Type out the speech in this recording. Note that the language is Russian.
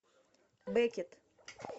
беккет